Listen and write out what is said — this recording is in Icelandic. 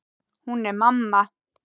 Hún er mamma.